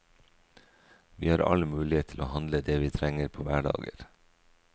Vi har all mulighet til å handle det vi trenger på hverdager.